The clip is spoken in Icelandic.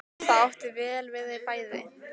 Það átti vel við þau bæði.